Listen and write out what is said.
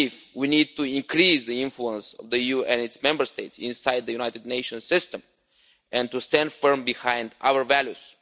We need to increase the influence of the EU and its Member States inside the United Nations system and to stand firm behind our values.